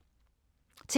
TV 2